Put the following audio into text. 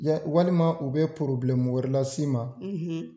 Walima u bɛ wɛrɛ las'i ma.